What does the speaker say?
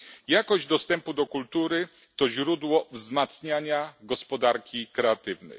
Jakość dostępu do kultury to źródło wzmacniania gospodarki kreatywnej.